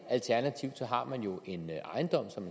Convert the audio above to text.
alternativt har man jo en ejendom som